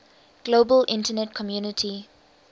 global internet community